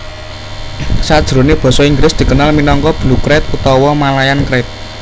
Sajroné basa Inggris dikenal minangka Blue krait utawa Malayan krait